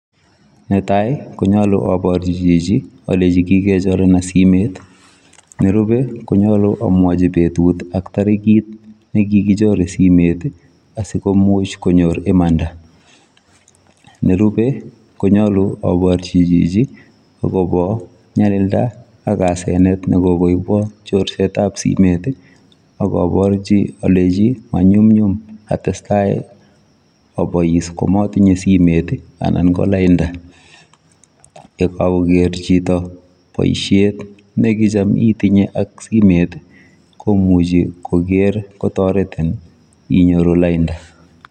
Netai konyaluu aborjii chichi alenjiin kikechorenan simeet nerupei Konyaluu amwachiii betut ak tarikiit nekikichore simeet asikomuuch komanda , nerupei Konyaluu aparjii chichi agobo nyalildaa ak asenet ne kokoibwaan asenet simet ii akabarjii alenjiin manyumnyum kotestai amatinyei simet ii anan ko laindaa, ye kagogeer chitoo boisiet nekichaam itinyei ak simeet komuchei kotaret inyoruu laindaa.